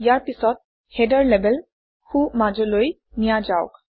ইয়াৰ পিছত header label সোঁমাজলৈ নিয়া যাওক